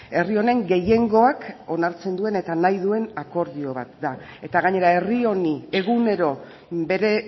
herri honen gehiengoak onartzen duen eta nahi duen akordio bat da eta gainera herri honi egunero bere